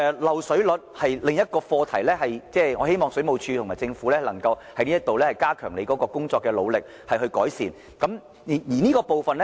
漏水率是另一個課題，我希望政府和水務署能加強這方面的工作以改善漏水的情況。